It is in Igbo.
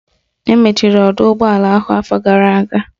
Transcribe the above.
Emechiri ọdọụgbọala ahụ afọ gara aga